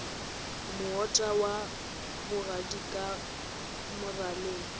moota wa bogadi ka moraleng